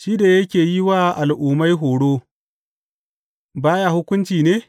Shi da yake yi wa al’ummai horo ba ya hukunci ne?